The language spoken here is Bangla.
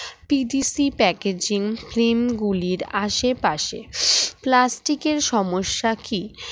TDC packaging stream গুলির আশেপাশে plastic এর সমস্যা কি